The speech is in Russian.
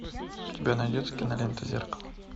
у тебя найдется кинолента зеркало